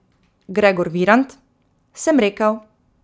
Gregor Virant: 'Sem rekel.